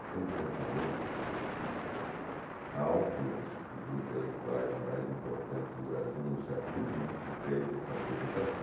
Ele tem um pensamento crítico muito alto, uma das um dos intelectuais mais importantes do Brasil no século vinte, fez essa apresentação.